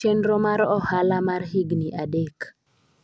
chenro mar ohala mar higni adek